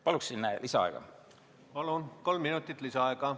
Palun lisaaega!